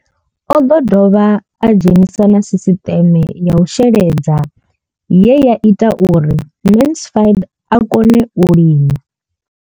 O ḓo dovha a dzhenisa na sisiṱeme ya u sheledza ye ya ita uri Mansfied a kone u lima.